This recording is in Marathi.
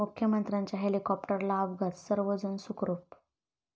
मुख्यमंत्र्यांच्या हेलिकॉप्टरला अपघात, सर्व जण सुखरूप